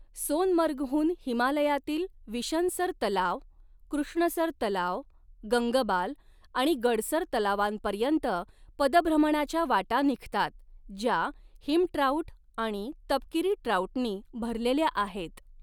सोनमर्गहून हिमालयातील विशनसर तलाव, कृष्णसर तलाव, गंगबाल आणि गडसर तलावांपर्यंत पदभ्रमणाच्या वाटा निघतात, ज्या हिम ट्राऊट आणि तपकिरी ट्राऊटनी भरलेल्या आहेत.